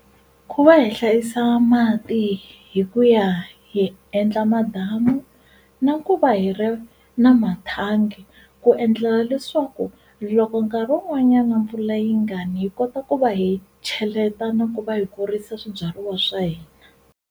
Ku va hi hlayisa mati hi ku ya hi endla madamu na ku va hi ri na mathangi ku endlela leswaku loko nkarhi wun'wanyana mpfula yi nga ni hi kota ku va hi cheleta na ku va hi kurisa swibyariwa swa hina.